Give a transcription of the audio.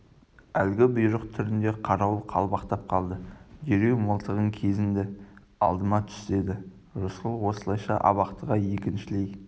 әлгі бұйрық түрінде қарауыл қалбақтап қалды дереу мылтығын кезенді алдыма түс деді рысқұл осылайша абақтыға екіншілей